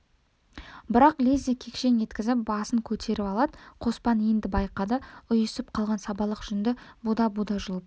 бірақ лезде кекшең еткізіп басын көтеріп алады қоспан енді байқады ұйысып қалған сабалақ жүнді буда-буда жұлып